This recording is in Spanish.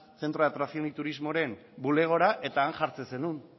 centro de atracción y turismoren bulegora eta han jartzen zenuen